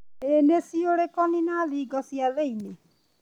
Iniciurĩconi na thingo cia thĩinĩ.